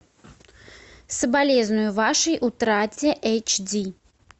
соболезную вашей утрате эйч ди